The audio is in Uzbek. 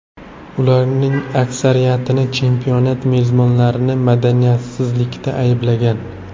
Ularning aksariyatini chempionat mezbonlarini madaniyatsizlikda ayblagan.